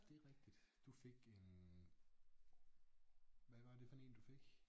Det er rigtigt du fik en hvad var det for en du fik?